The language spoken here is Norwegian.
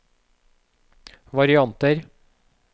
varianter